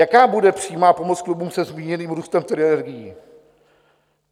Jaká bude přímá pomoc klubům se zmíněným růstem cen energií?